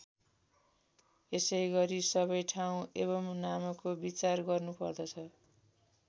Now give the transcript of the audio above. यसैगरी सबै ठाउँ एवं नामको विचार गर्नुपर्दछ।